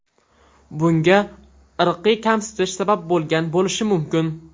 Bunga irqiy kamsitish sabab bo‘lgan bo‘lishi mumkin.